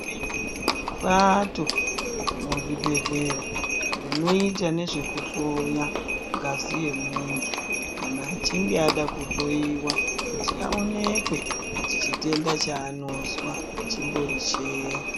Bato remuzvibhedlera rinoita ngezvekuhloya ngazi yemuntu kana achinge ada kuhloyiwa kuti awonekwe kuti chitenda chaanozwa chimbori cheyi.